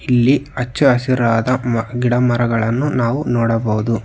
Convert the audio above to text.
ಇಲ್ಲಿ ಹಚ್ಚ ಹಸಿರಾದ ಮ ಗಿಡ ಮರಗಳನ್ನು ನಾವು ನೋಡಬಹುದು.